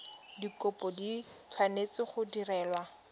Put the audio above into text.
dikopo di tshwanetse go direlwa